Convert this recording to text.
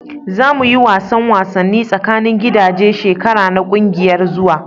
Za mu yi wasan wasanni tsakanin gidaje shekara na kungiyar zuwa.